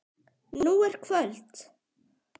Nú er kvöld.